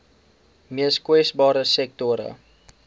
mees kwesbare sektore